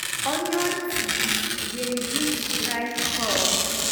onion tea dey reduce dry cough.